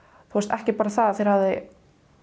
ekki bara að þeir hafi